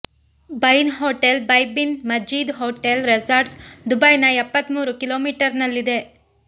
ಬೈನ್ hotel by bin Majid hotel resorts ದುಬೈನ ಎಪ್ಪತ್ತಮೂರು ಕಿಲೋಮೀಟರ್ನಲ್ಲಿದೆ